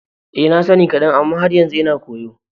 Eh, na sani kadan amma har yanzu ina koyo.